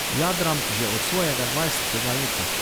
Jadram že od svojega dvajsetega leta.